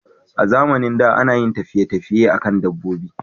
A zamanin da, ana yin tafiye tafiye a kan dabbobi